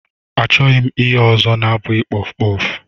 Achọghị m ihe ọzọ na-abụghị kpọf kpọf.